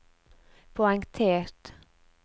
poengtert